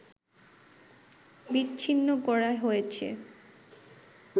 বিচ্ছিন্ন করা হয়েছে